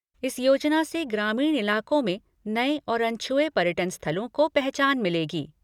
इस योजना से ग्रामीण इलाकों में नए और अनछुए पर्यटन स्थलों को पहचान मिलेगी।